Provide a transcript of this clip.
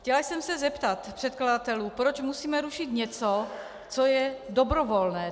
Chtěla jsem se zeptat předkladatelů, proč musíme rušit něco, co je dobrovolné.